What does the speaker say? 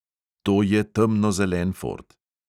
To je temnozelen ford.